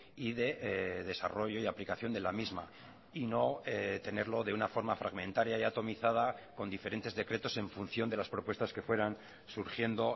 y de desarrollo y aplicación de la misma y no tenerlo de una forma fragmentaria y atomizada con diferentes decretos en función de las propuestas que fueran surgiendo